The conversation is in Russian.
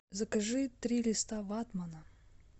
закажи три листа ватмана